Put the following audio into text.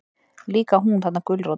Líka hún, þarna gulrótin.